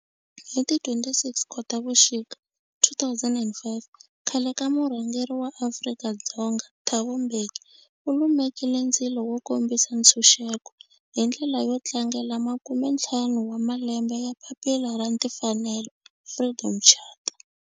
Hi ti 26 Khotavuxika 2005 khale ka murhangeri wa Afrika-Dzonga Thabo Mbeki u lumekile ndzilo wo kombisa ntshuxeko, hi ndlela yo tlangela makumentlhanu wa malembe ya papila ra timfanelo, Freedom Charter.